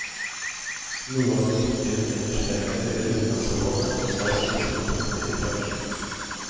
Noe av det nyttige hun ellers fremhever ved utenlandsoppholdet var å knytte kontakter i bransjen.